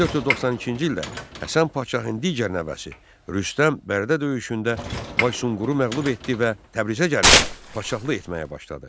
1492-ci ildə Həsən Padşahın digər nəvəsi Rüstəm Bərdə döyüşündə Baysunquru məğlub etdi və Təbrizə gəlib padşahlıq etməyə başladı.